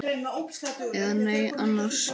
Eða nei annars.